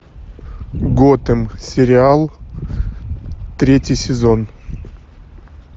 готэм сериал третий сезон